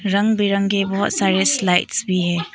रंग बिरंगे बहोत सारे स्लाइड्स भी है।